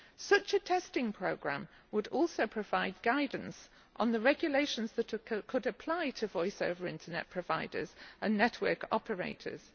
Such a testing programme would also provide guidance on the regulations that could apply to voiceover Internet providers and network operators.